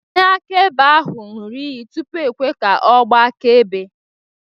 Onyeakaebe ahụ ṅụrụ iyi tupu e kwe ka ọ gbaa akaebe